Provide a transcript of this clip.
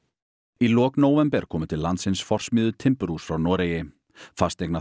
í lok nóvember komu til landsins timburhús frá Noregi